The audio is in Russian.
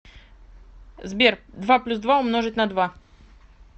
сбер два плюс два умножить на два